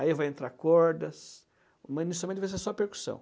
Aí vai entrar cordas, mas inicialmente vai ser só a percussão.